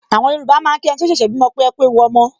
Àwọn Yorùbá máa ń kí ẹniti ó ṣẹ̀ṣẹ̀ bímọ pé "ekú ewu ọmọ"